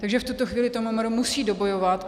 Takže v tuto chvíli to MMR musí dobojovat.